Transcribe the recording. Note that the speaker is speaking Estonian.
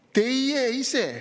Teie ise!